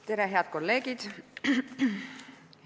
Tere, head kolleegid!